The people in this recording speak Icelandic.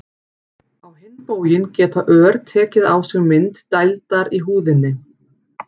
á hinn bóginn geta ör tekið á sig mynd dældar í húðinni